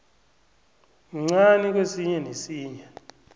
mncani kwesinye nesinye